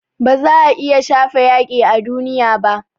Ba za a iya shafe yaƙi a duniya ba